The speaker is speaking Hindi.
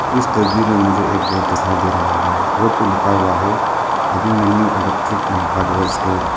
इस तस्वीर में मुझे एक बोर्ड दिखाई दे रहा है बोर्ड पे लिखा हुआ है Abhimanyu electric and hardware store.